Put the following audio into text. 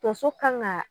Tonso kan ka